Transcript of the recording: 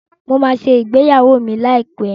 Mo máa ṣe ìgbéyàwó mi láìpẹ́.